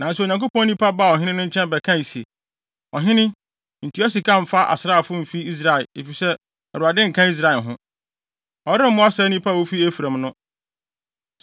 Nanso Onyankopɔn nipa baa ɔhene no nkyɛn bɛkae se, “Ɔhene, ntua sika mfa asraafo mfi Israel, efisɛ Awurade nka Israel ho. Ɔremmoa saa nnipa a wofi Efraim no.